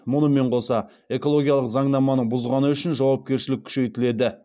мұнымен қоса экологиялық заңнаманы бұзғаны үшін жауапкершілік күшейтіледі